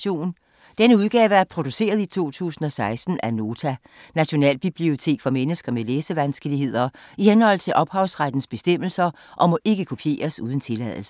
Denne udgave er produceret i 2016 af Nota - Nationalbibliotek for mennesker med læsevanskeligheder, i henhold til ophavsrettes bestemmelser, og må ikke kopieres uden tilladelse.